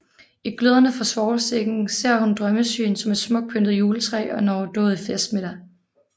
I gløderne fra svovlstikken ser hun drømmesyn som et smukt pyntet juletræ og en overdådig festmiddag